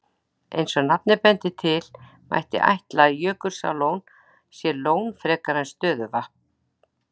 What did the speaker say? Eins og nafnið bendir til, mætti ætla að Jökulsárlón sé lón fremur en stöðuvatn.